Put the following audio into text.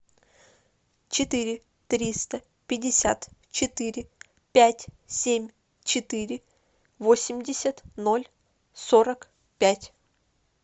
четыре триста пятьдесят четыре пять семь четыре восемьдесят ноль сорок пять